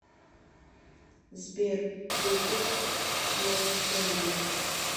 сбер ютуб снова тяну